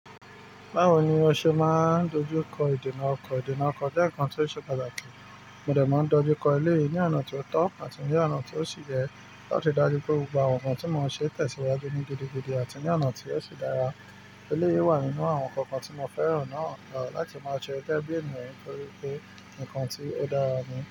Báwo ni o ṣe máa dojú kọ ìdènà ọkọ̀? Ìdènà ọkọ̀ jẹ́ ǹkan tí ó ṣe pàtàkì, mo dẹ̀ máa ń dojú kọ eléyìí ní ọ̀nà tí ó tọ́ àti ní ọ̀nà tí ó sì yẹ láti dàjú pé ó gbogbo àwọn nǹkan tí mò ń ṣe tẹ̀síwájú gidi-gidi àti ní ọ̀nà tí yóò sì dára. Eléyìí wà nínú àwọn nǹkan kan tí mo fẹ́ràn náà láti máa ṣe ọ dẹ́ bí ènìyàn nítorí pé nǹkan tí ó dára ni.